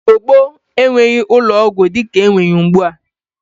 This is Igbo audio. Igbo gboo enweghi ụlọ ọgwọ di ka enwe ya ugbua.